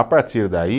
A partir daí,